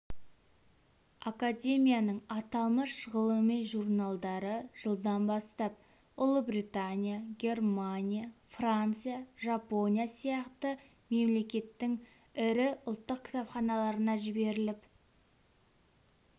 академияның аталмыш ғылыми журналдары жылдан бастап ұлыбритания германия франция жапония сияқты мемлекеттің ірі ұлттық кітапханаларына жіберіліп